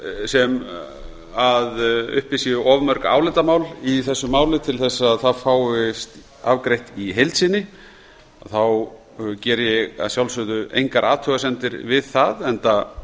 sem uppi eru of mörg álitamál í þessu máli til að það fáist afgreitt í heild sinni þá geri ég að sjálfsögðu engar athugasemdir við það enda